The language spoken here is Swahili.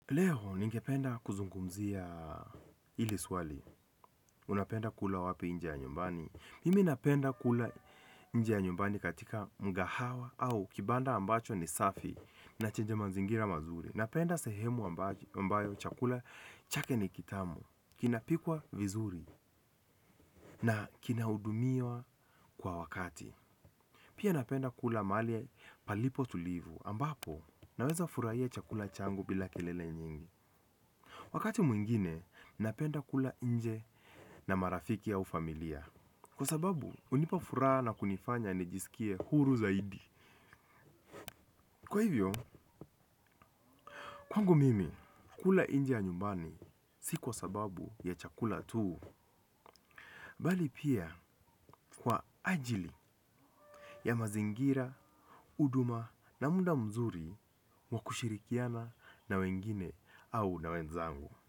Leo ningependa kuzungumzia hili swali. Unapenda kula wapi nje ya nyumbani. Mimi napenda kula nje ya nyumbani katika mgahawa au kibanda ambacho ni safi na chenye mazingira mazuri. Napenda sehemu ambayo chakula chake ni kitamu, kinapikwa vizuri na kinahudumiwa kwa wakati. Pia napenda kula mahali palipo tulivu ambapo naweza furahia chakula changu bila kelele nyingi. Wakati mwingine napenda kula nje na marafiki au familia. Kwa sababu hunipa furaha na kunifanya nijisikie huru zaidi. Kwa hivyo, kwangu mimi kula nje ya nyumbani si kwa sababu ya chakula tu. Bali pia kwa ajili ya mazingira, huduma na muda mzuri wa kushirikiana na wengine au na wenzangu.